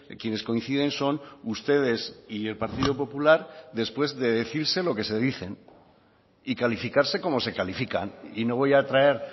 quienes coinciden son ustedes y el partido popular después de decirse lo que se dicen y calificarse como se califican y no voy a traer